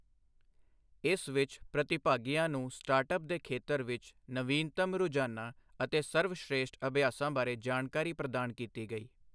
ਇਸ ਵਿੱਚ ਪ੍ਰਤੀਭਾਗੀਆਂ ਨੂੰ ਸਟਾਰਟਅੱਪਸ ਦੇ ਖੇਤਰ ਵਿੱਚ ਨਵੀਨਤਮ ਰੁਝਾਨਾਂ ਅਤੇ ਸਰਵਸ਼੍ਰੇਸ਼ਠ ਅਭਿਯਾਸਾਂ ਬਾਰੇ ਜਾਣਕਾਰੀ ਪ੍ਰਦਾਨ ਕੀਤੀ ਗਈ।